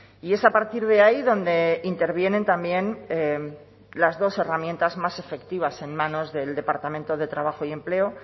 y es a partir de ahí donde intervienen también las dos herramientas más efectivas en manos del departamento de trabajo y empleo